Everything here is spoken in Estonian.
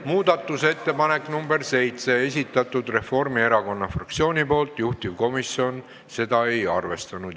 Muudatusettepaneku nr 7 on esitanud Reformierakonna fraktsioon, juhtivkomisjon seda ei arvestanud.